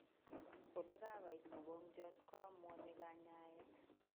Olekakoit mokongiot koamuani kanyaet